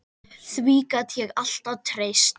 Því gat ég alltaf treyst.